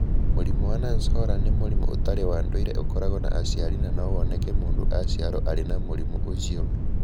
Mũrimũ wa Nance Horan nĩ mũrimũ ũtarĩ wa ndũire ũkoragwo na aciari na no woneke mũndũ aciarũo arĩ na mũrimũ ũcio.